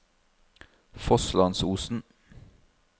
Fosslandsosen